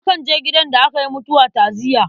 Akan je gidan da aka yi mutuwa ta'aziyya.